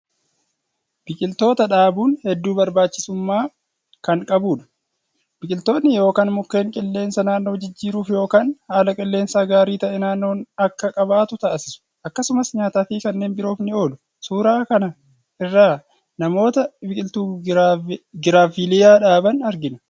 Biqiltoota dhaabuun hedduu barbaachisumaa kan qabudha. Biqiltoonni yookaan mukeen qilleensa naannoo jijjiiruuf yookaan haala qilleensaa gaarii ta'e naannoon akka qabaatu taasisu. Akkasumas nyaataafi kanneen biroof ni oolu. Suuraa kaan irraa namoota biqiltuu Giraaviiliyaa dhaaban argina.